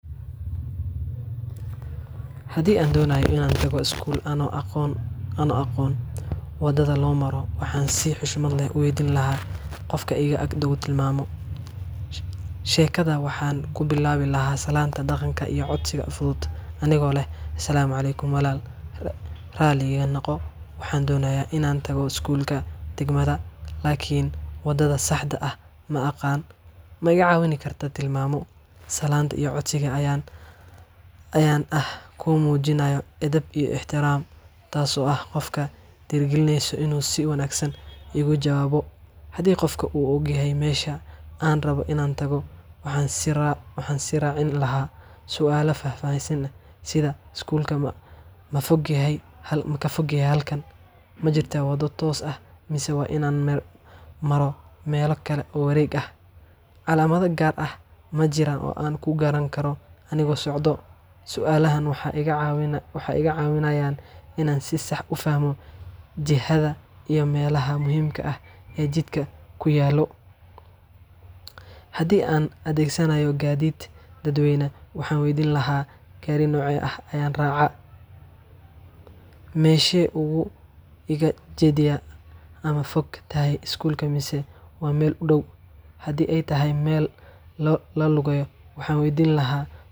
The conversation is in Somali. Hadii andonayo inan tago skuul ano aqon ano aqon wadada lomaro. waxan si xushmad leh uweydin laha qofka iga agdaw tilmaamo Shekadan waxan kubilabi laha salaanta daqanka iyo salaanta Asalaamu Aleykum walal rali iga noqo waxan doonya inan tago Skuulka dagmada wadada saxda aah maqaan maiga cawin karka tilmamo salaanta iyo codsiga ayan ah kumujinayo edab iyo extiram. Taaso ah qofka dheeri galineyso ina s.. igujawabo hadi qof u og yahay mesha an rabo inan tago waxan si raacin laha suala fafahsan sida Skuulka mafogyahay makafogyahy halkan majirta wada toos aah masa wain an maro mela kala wareeg ah calamada gar ah majiran o ankugaran kara anigo socdo. Sualahan waxa iga wacinaayan ina si saax ufahmo jihada iyo melaha muhimka ah e jidka kuyaalo. Hadi an adegsanayo Gadhid dad weyna waxan weydin laha Gari noce ah ayan raca meshe ugu jidya ama fogtahay Skuulka mise wa meel u daw hadi ay tahay meel lalugeeyo waxan weydin laha.